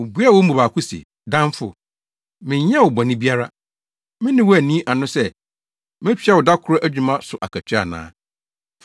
“Obuaa wɔn mu baako se, ‘Damfo, menyɛɛ wo bɔne biara. Me ne wo anni ano sɛ, metua wo da koro adwuma so akatua ana?